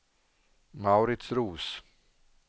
Mauritz Roos